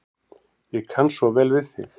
Ég kann svo vel við þig.